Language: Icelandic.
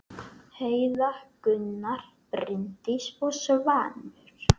Heiða, Gunnar, Bryndís og Svanur.